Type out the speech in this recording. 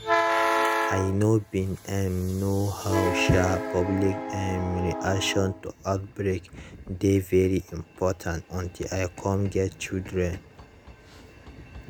i know bin um know how um public um reaction to outbreak dey very important until i cum get children